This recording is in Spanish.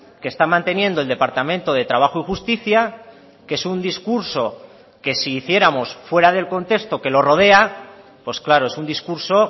que está manteniendo el departamento de trabajo y justicia que es un discurso que si hiciéramos fuera del contexto que lo rodea pues claro es un discurso